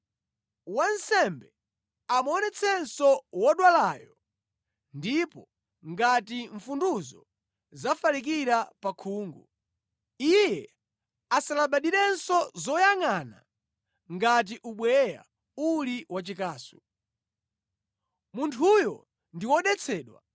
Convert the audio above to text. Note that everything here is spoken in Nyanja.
wansembe amuonetsetsenso wodwalayo ndipo ngati mfunduzo zafalikira pa khungu, iye asalabadirenso zoyangʼana ngati ubweya uli wachikasu. Munthuyo ndi wodetsedwa.